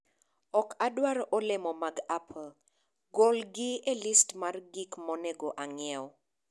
ok adwar olemo mag apple. Golgi e list mar gik monego ang'iew.